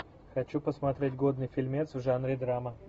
хочу посмотреть годный фильмец в жанре драма